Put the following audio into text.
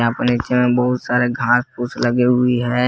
और नीचे में बहुत सारे घास फूस लगे हुई है।